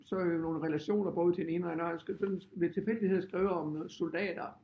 Så øh nogle relationer både til den ene og anden og han skal sådan ved tilfældighed have skrevet om noget soldater